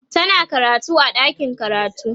tana karatu a ɗakin karatu